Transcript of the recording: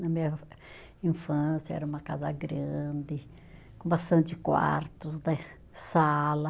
Na minha infância era uma casa grande, com bastante quartos né, sala.